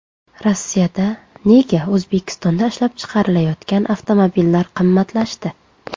Rossiyada nega O‘zbekistonda ishlab chiqarilayotgan avtomobillar qimmatlashdi?.